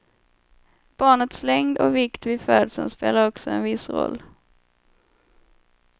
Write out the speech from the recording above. Barnets längd och vikt vid födseln spelar också en viss roll.